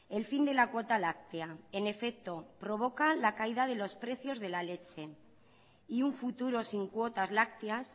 el fin de la cuota láctea en efecto provoca la caída de los precios de la leche y un futuro sin cuotas lácteas